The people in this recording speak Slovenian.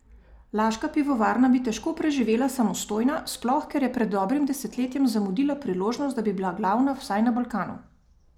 Laška pivovarna bi težko preživela samostojna, sploh, ker je pred dobrim desetletjem zamudila priložnost, da bi bila glavna vsaj na Balkanu.